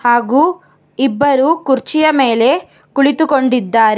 ಹಾಗು ಇಬ್ಬರು ಕುರ್ಚಿಯ ಮೇಲೆ ಕುಳಿತುಕೊಂಡಿದ್ದಾರೆ.